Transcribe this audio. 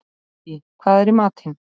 Dídí, hvað er í matinn?